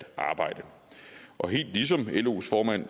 arbejde og helt ligesom los formand